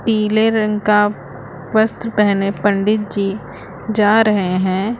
पीले रंग का वस्त्र पहने पंडित जी जा रहे हैं।